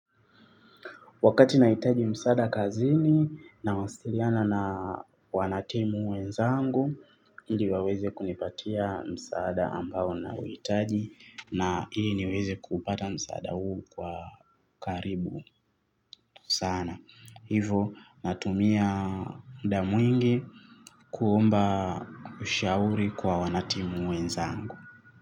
Wakati nahitaji msaada kazini na wasiliana na wanatimu wenzangu, hili waweze kunipatia msaada ambao na wahitaji na ili niweze kupata msaada huu kwa karibu sana. Hivo natumia muda mwingi kuomba ushauri kwa wanatimu wenzangu.